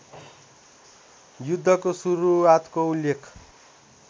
युद्धको सुरुआतको उल्लेख